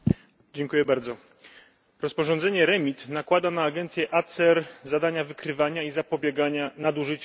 Rozporządzenie REMIT nakłada na agencję ACER zadania wykrywania i zapobiegania nadużyciom na hurtowych rynkach energii.